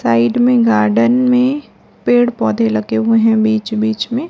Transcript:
Side में garden में पेड़ पौधे लगे हुए हैं बीच बीच में।